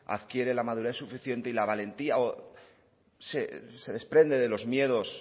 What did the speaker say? adquiere la madurez suficiente y la valentía o se desprende de los miedos